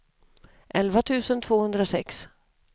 elva tusen tvåhundrasex